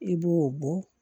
I b'o bɔ